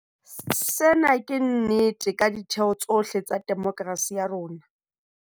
Sena ke nnete ka ditheo tsohle tsa demokerasi ya rona.